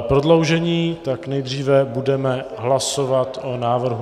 prodloužení, tak nejdříve budeme hlasovat o návrhu...